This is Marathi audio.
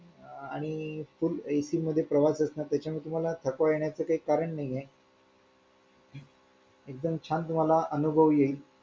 आणि full AC मध्ये प्रवास असल्याने तुम्हाला थकवा येण्याचे कारण नाहीये एकदम छान तुम्हाला अनुभव येईल